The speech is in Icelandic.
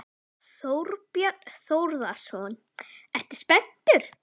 Þorbjörn Þórðarson: Ertu spenntur?